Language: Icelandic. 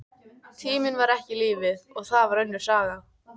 Tíminn var ekki lífið, og það var önnur saga.